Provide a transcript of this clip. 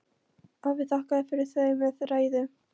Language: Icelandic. Afi þakkaði fyrir þau með ræðu.